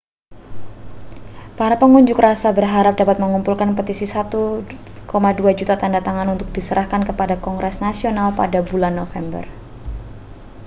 para pengunjuk rasa berharap dapat mengumpulkan petisi 1,2 juta tanda tangan untuk diserahkan kepada kongres nasional pada bulan november